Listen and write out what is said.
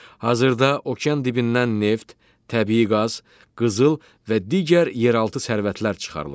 Hazırda okean dibindən neft, təbii qaz, qızıl və digər yeraltı sərvətlər çıxarılır.